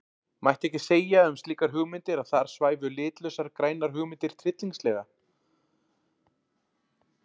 Mætti ekki segja um slíkar hugmyndir að þar svæfu litlausar grænar hugmyndir tryllingslega?